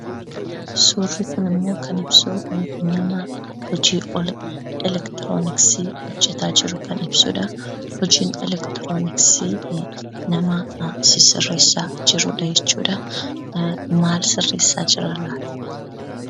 Suurri kunimmoo kan ibsu nama hojii elektirooniksii hojjetaa jiru kan ibsudha. Hojii elektirooniksii nama sisirreessaa jirudha jechuudha. Maal sisirreessaa jira laata?